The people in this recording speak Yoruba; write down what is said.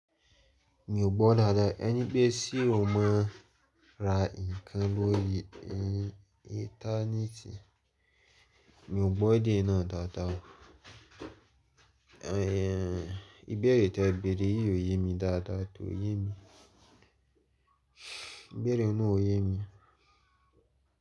Mi ò gbọ́ dáadáa. Ẹnipe sì ò mọ́ ra nǹkan lórí ẹ́ńtánẹ́tì. Mi ò gbọ́ ede náà dáadáa o. Ẹ̀yin, ìbéèrè tí ẹ bèèrè yìí ò yé mi dáadáa tó yé mi. Ìbéèrè náà ò yé mi.